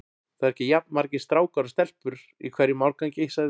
Það eru ekki jafn margir strákar og stelpur í hverjum árgangi sagði